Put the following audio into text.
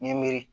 Ɲɛ miiri